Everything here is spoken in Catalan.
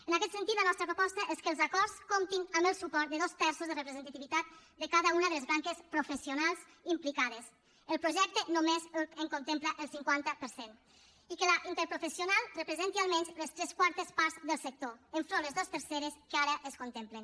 en aquest sentit la nostra proposta és que els acords comptin amb el suport de dos terços de representativitat de cada una de les branques professionals implicades el projecte només en contempla el cinquanta per cent i que la interprofessional representi almenys les tres quartes parts del sector enfront de les dues terceres que ara es contemplen